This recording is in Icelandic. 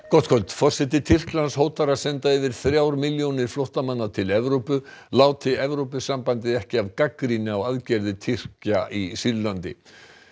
gott kvöld forseti Tyrklands hótar að senda yfir þrjár milljónir flóttamanna til Evrópu láti Evrópusambandið ekki af gagnrýni á aðgerðir Tyrkja í Sýrlandi